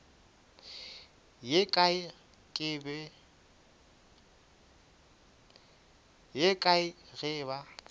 ye kae ke ge ba